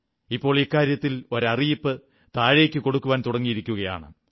ഇപ്പോൾ ഇക്കാര്യത്തിൽ ഒരു അറിയിപ്പ് താഴേക്കു കൊടുക്കാൻ തുടങ്ങിയിരിക്കയാണ്